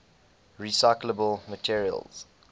recyclable materials